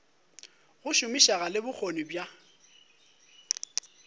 go šomišega le bokgoni bja